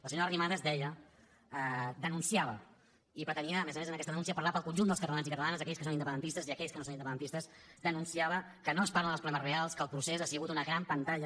la senyora arrimadas deia denunciava i pretenia a més a més amb aquesta denúncia parlar pel conjunt dels catalans i catalanes aquells que són independentistes i aquells que no són independentistes que no es parla dels problemes reals que el procés ha sigut una gran pantalla